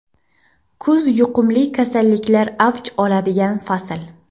Kuz yuqumli kasalliklar avj oladigan fasl.